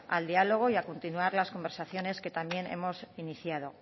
al diálogo y a continuar las conversaciones que también hemos iniciado